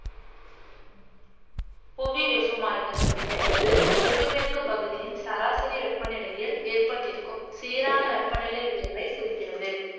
புவி வெப்பமாயிதல் என்பது புவிமேற்கு பகுதியின் சராசரி வெப்பநிலையில் ஏற்பட்டிருக்கும் சீரான வெப்பநிலை உயர்வை குறிக்கிறது